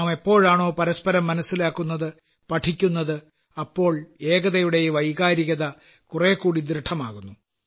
നാം എപ്പോഴാണോ പരസ്പരം മനസ്സിലാക്കുന്നത് പഠിക്കുന്നത് അപ്പോൾ ഏകതയുടെ ഈ വൈകാരികത കുറേക്കൂടി ദൃഢമാകുന്നു